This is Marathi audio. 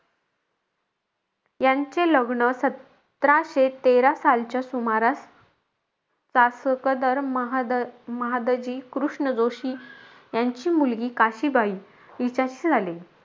यांचे लग्न सतराशे तेरा सालच्या सुमारास चासकदर महाद महादजी कृष्ण जोशी यांची मुलगी काशीबाई हिच्याशी झाले.